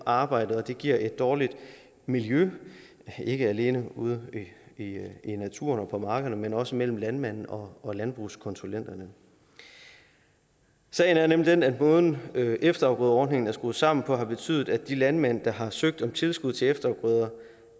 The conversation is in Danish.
arbejdet og det giver et dårligt miljø ikke alene ude i naturen og på markerne men også mellem landmændene og og landbrugskonsulenterne sagen er nemlig den at måden efterafgrødeordningen er skruet sammen på har betydet at de landmænd der har søgt om tilskud til efterafgrøder